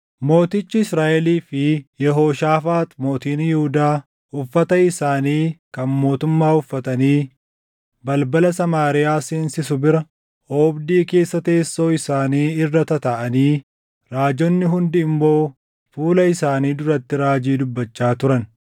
Mootichi Israaʼelii fi Yehooshaafaax mootiin Yihuudaa uffata isaanii kan mootummaa uffatanii balbala Samaariyaa seensisu bira oobdii keessa teessoo isaanii irra tataaʼanii raajonni hundi immoo fuula isaanii duratti raajii dubbachaa turan.